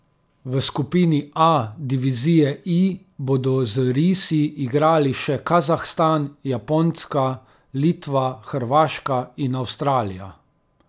V skupini A, Divizije I, bodo z risi igrali še Kazahstan, Japonska, Litva, Hrvaška in Avstralija.